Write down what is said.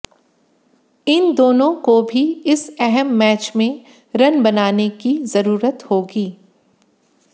इन दोनों को भी इस अहम मैच में रन बनाने की जरूरत होगी